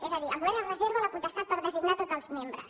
és a dir el govern es reserva la potestat per designar tots els membres